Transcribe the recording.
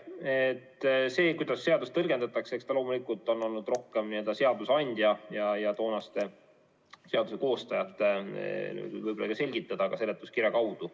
Eks see, kuidas seadust tõlgendada, ole loomulikult olnud võib-olla rohkem seadusandja ja toonaste seaduse koostajate selgitada, ka seletuskirja kaudu.